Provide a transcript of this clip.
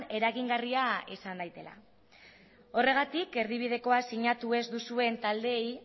eragingarria izan dadila horregatik erdibideko sinatu ez duzuen taldeei